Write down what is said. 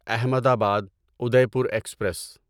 احمد آباد Udaipur express